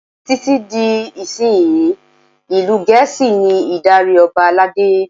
Títí di ìsinsìnyí, ìlú Gẹ̀ẹ́sì ní ìdarí Ọba aládé.